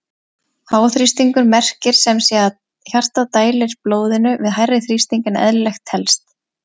Háþrýstingur merkir sem sé að hjartað dælir blóðinu við hærri þrýsting en eðlilegt telst.